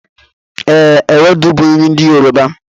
E, ewedu bu nri ndi Yoruba